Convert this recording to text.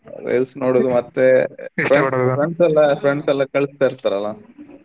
Reels ನೋಡೋದು ಮತ್ತೆ friends ಎಲ್ಲಾ friends ಎಲ್ಲಾ ಕಳಿಸ್ತಾ ಇರ್ತಾರಲಾ.